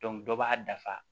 dɔ b'a dafa